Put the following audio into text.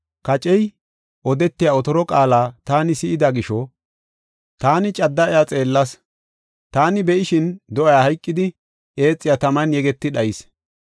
“Kacey odetiya otoro qaala taani si7ida gisho, iya cadda xeellas. Taani be7ishin do7ay hayqidi, eexiya taman yeggetidi, dhayis.